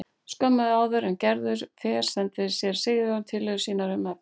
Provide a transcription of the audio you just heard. Skömmu áður en Gerður fer sendir séra Sigurjón tillögur sínar um efni.